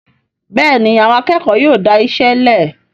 Béèni Àwọn akékòó tí dáiṣélè.